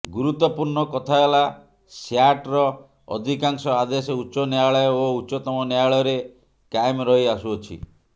ଗୁରୁତ୍ବପୂର୍ଣ୍ଣ କଥା ହେଲା ସ୍ୟାଟ୍ର ଅଧିକାଂଶ ଆଦେଶ ଉଚ୍ଚ ନ୍ୟାୟାଳୟ ଓ ଉଚ୍ଚତମ ନ୍ୟାୟାଳୟରେ କାଏମ୍ ରହି ଆସୁଅଛି